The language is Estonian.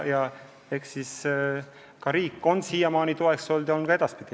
Ja eks riik on siiamaani toeks olnud ja on ka edaspidi.